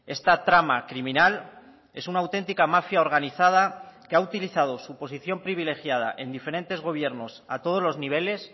esta trama criminal es una auténtica mafia organizada que ha utilizado su posición privilegiada en diferentes gobiernos a todos los niveles